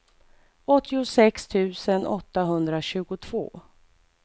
åttiosex tusen åttahundratjugotvå